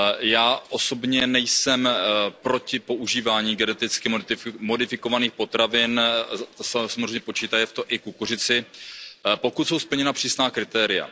Já osobně nejsem proti používání geneticky modifikovaných potravin, samozřejmě počítaje v to i kukuřici, pokud jsou splněna přísná kritéria.